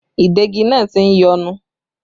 Ìdegi náà tí ń yọnu